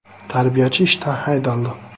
Tarbiyachi ishdan haydaldi.